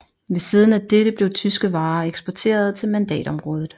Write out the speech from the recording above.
Ved siden af dette blev tyske varer eksporterede til mandatområdet